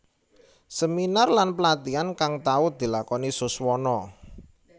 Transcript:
Seminar lan pelatihan kang tau dilakoni Suswono